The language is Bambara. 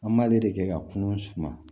An b'ale de kɛ ka kunun suma